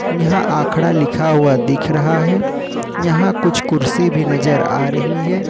यहां अखड़ा लिखा हुआ दिख रहा है यहां कुछ कुर्सी भी नजर आ रही है।